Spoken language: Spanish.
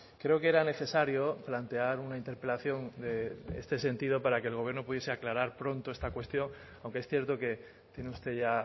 creo que era necesario plantear una interpelación en este sentido para que el gobierno pudiese aclarar pronto esta cuestión aunque es cierto que tiene usted ya